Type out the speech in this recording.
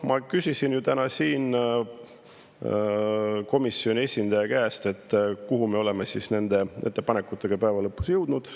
Ma küsisin täna komisjoni esindaja käest, kuhu me oleme nende ettepanekutega päeva lõpuks jõudnud.